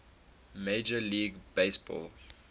major league baseball